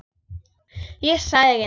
Ég sagði ekki neitt.